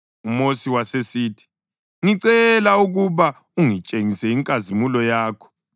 UMosi wasesithi, “Ngicela ukuba ungitshengise inkazimulo yakho.”